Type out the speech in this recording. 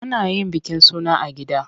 Ana yin bikin suna a gida.